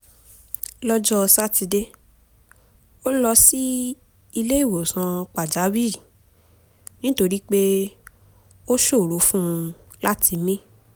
lọ́jọ́ sátidé ó lọ sí ilé ìwòsàn pàjáwìrì nítorí pé ó ṣòro fún un láti mí